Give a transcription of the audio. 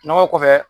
Nɔgɔ kɔfɛ